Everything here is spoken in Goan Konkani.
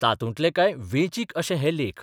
तातूंतले कांय वेंचीक अशे हे लेख.